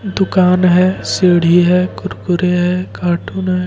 दुकान है सीडी है कुरकुरे है कार्टून है।